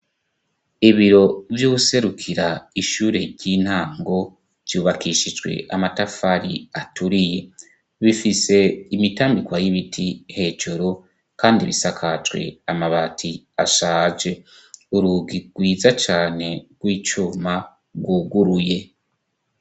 ibiro vy'userukira ishure ry'intango ryubakishijwe amatafari aturiye bifise imitambikwa y'ibiti hejeru kandi bisakazwe amabati ashaje urugi rwiza cane rw'icuma rwuguruye